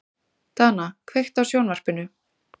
Dana, kveiktu á sjónvarpinu.